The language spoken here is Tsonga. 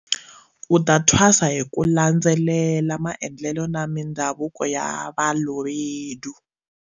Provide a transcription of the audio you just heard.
U ta thwasa hi ku landze lela maendlelo na mi ndhavuko ya Balobedu.